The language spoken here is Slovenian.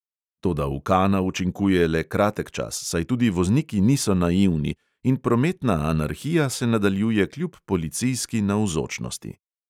Toda ukana učinkuje le kratek čas, saj tudi vozniki niso naivni, in prometna anarhija se nadaljuje kljub policijski navzočnosti.